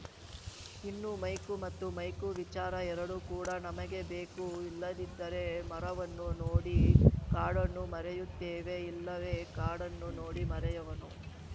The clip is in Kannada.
ಇನ್ನು ಮೈಕ್ರೋ ಮತ್ತು ಮೇಕ್ರೋ ವಿಚಾರ ಎರಡೂ ಕೂಡ ನಮಗೆ ಬೇಕು ಇಲ್ಲದಿದ್ದರೆ ಮರವನ್ನು ನೋಡಿ ಕಾಡನ್ನು ಮರೆಯುತ್ತೇವೆ ಇಲ್ಲವೇ ಕಾಡನ್ನು ನೋಡಿ ಮರೆಯವನ್ನು